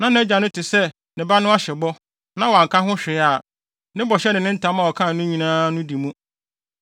na nʼagya no te sɛ ne ba no ahyɛ bɔ, na wanka hwee a, ne bɔhyɛ ne ne ntam a ɔkaa no nyinaa no di mu.